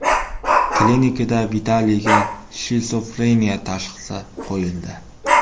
Klinikada Vitaliyga shizofreniya tashxisi qo‘yildi.